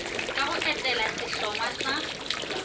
ka go etela sehlongwa sa